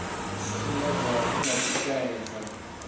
sumbedza hu na u shaedza